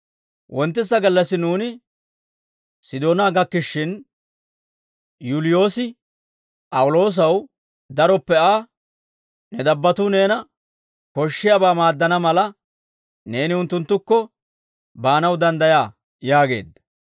Wonttisa gallassi nuuni Sidoonaa gakkishshin, Yuuliyoosi P'awuloosaw daroppe Aa, «Ne dabbattuu neena koshshiyaabaa maaddana mala, neeni unttunttukko baanaw danddayaa» yaageedda.